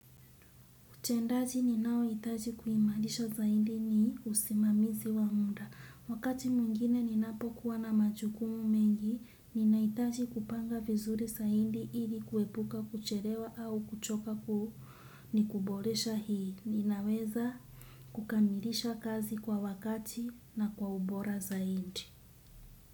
Utendaji ninao hitaji kuimarisha zaidi ni usimamizi wa munda. Wakati mwingine ninapokuwa na majukumu mengi, ninahitaji kupanga vizuri zaidi ili kuepuka kuchelewa au kuchoka kuhu ni kuboresha hii. Ninaweza kukamilisha kazi kwa wakati na kwa ubora zaiddi.